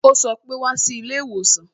Ó sọ pé "Wá sí ilé ìwòsàn"